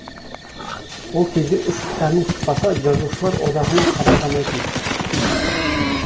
ол кезде үш кітабың шықпаса жазушылар одағына қабылдамайтын